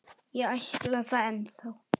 Ég ætla það ennþá.